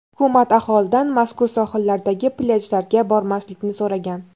Hukumat aholidan mazkur sohillardagi plyajlarga bormaslikni so‘ragan.